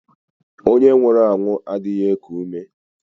Ònye nwụrụ anwụ adịghị eku ume.